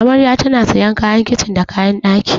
Amarya tana sayan kayan kicin da kayan ɗaki.